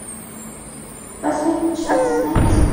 последний час найти